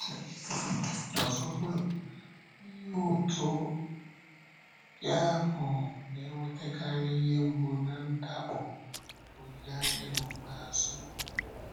Ọzọkwa, ihe ụ̀tụ̀ ndị ahụ na-ewetakarị ihe mgbu na ndàkpò olileanya n’ókpéazụ.